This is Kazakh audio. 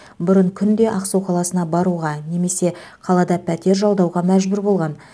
бұрын күнде ақсу қаласына баруға немесе қалада пәтер жалдауға мәжбүр болған